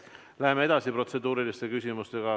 Läheme edasi protseduuriliste küsimustega.